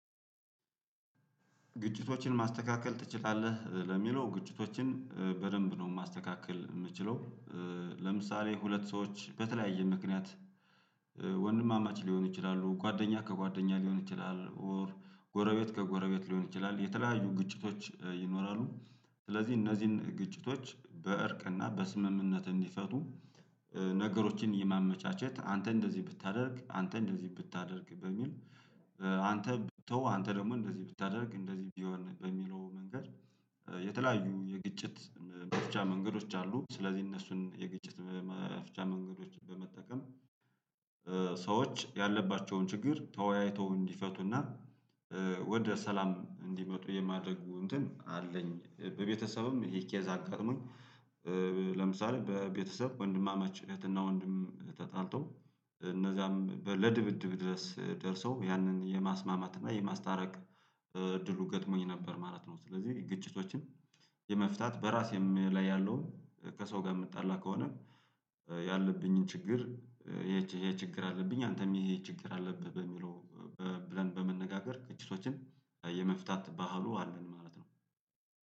ግጭቶችን ማስተካከል ትችላለህ ለሚለው ግጭቶችን በደንብ ነው ማስተካከል የምችለው። ለምሳሌ ሁለት ሰዎች በተለያየ ምክንያት ወንድማማች ሊሆኑ ይችላሉ ጓደኛ ከጓደኛ ሊሆን ይችላል ኦር ጎረቤት ከጎረቤት ሊሆን ይችላል የተለያዩ ግጭቶች ይኖራሉ። ስለዚህ እነዚህን ግጭቶች በእርቅና በስምምነት እንዲፈቱ። ነገሮችን የማመቻቸት አንተ እንደዚህ ብታደርግ አንተ እንደዚህ ብታደርግ በሚል አንተ ብትተው አንተ ደግሞ እንደዚህ ብታደርግ እንደዚህ ቢሆን በሚለው መንገድ የተለያዩ የግጭት መፍቻ መንገዶች አሉ። ስለዚህ እነሱን የግጭት መፍቻ መንገዶችን በመጠቀም። ሰዎች ያለባቸውን ችግር ተወያይተው እንዲፈቱና ወደ ሰላም እንዲመጡ የማድረጉ እንትን አለኝ። በቤተሰብም ይሄ ኬዛ አጋጥሞኝ ለምሳሌ በቤተሰብ ወንድማማች እህትና ወንድም ተጣልቶ እነዛም ለድብድብ ድረስ ደርሰው ያንን የማስማማት እና የማስታረቅ እድሉ ገጥሞኝ ነበር ማለት ነው። ስለዚህ ግጭቶችን የመፍታት በራሴም ላይ ያለውን ከሰው ጋር የምጣላ ከሆነ ያለብኝን ችግር ይሄ ይሄ ችግር አለብኝ አንተም ይሄ ይሄ ችግር አለብህ በሚለው። ብለን በመነጋገር ግጭቶችን የመፍታት ባህሉ አለን ማለት ነው።